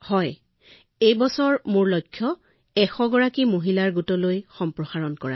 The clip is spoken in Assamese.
হয় মহোদয় এই বছৰতেই মোৰ এলেকাত ১০০গৰাকী মহিলাৰ সৈতে অধিক সম্প্ৰসাৰিত হব